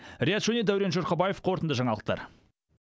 риат шони дәурен жұрқабаев қорытынды жаңалықтар